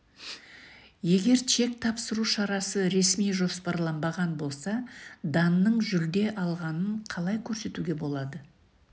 егер чек тапсыру шарасы ресми жоспарланбаған болса данның жүлде алғанын қалай көрсетуге болады